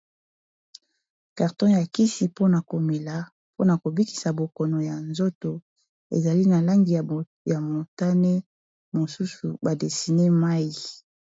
karton ya kisi mpona komela mpona kobikisa bokono ya nzoto ezali na langi ya motane mosusu badesine mai